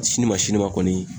Sini ma sini ma kɔni